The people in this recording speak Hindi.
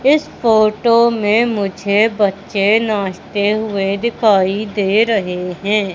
इस फोटो में मुझे बच्चे नाचते हुए दिखाई दे रहे हैं।